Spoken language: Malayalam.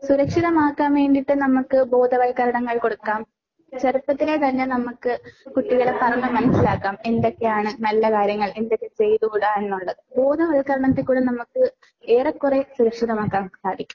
സുരക്ഷിതമാക്കാൻ വേണ്ടിയിട്ട് നമ്മൾക്ക് ബോധവൽക്കരണങ്ങൾ കൊടുക്കാം. ചെറുപ്പത്തിലെ തന്നെ നമ്മൾക്ക് കുട്ടികളെ പറഞ്ഞു മനസ്സിലാക്കാം. എന്തൊക്കെയാണ് നല്ല കാര്യങ്ങൾ എന്തൊക്കെ ചെയ്തുകൂടാ എന്നുള്ളത്. ബോധവൽക്കരണത്തിലൂടെ നമ്മക്ക് ഏറെക്കുറെ സുരക്ഷിതമാക്കാൻ നമുക്ക് സാധിക്കും.